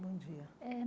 Bom dia. Eh